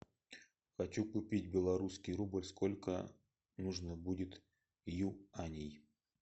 хочу купить белорусский рубль сколько нужно будет юаней